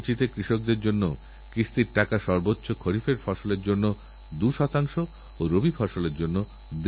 মহাভারতের অনুশাসন পর্বে বিস্তৃতভাবে এর আলোচনা রয়েছে এতে লেখা রয়েছে যে গাছলাগায় তাঁর কাছে গাছ সন্তানসম এতে কোনো সংশয় নেই